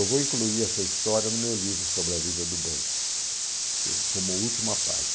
Eu vou incluir essa história no meu livro sobre a vida do banco, como última página.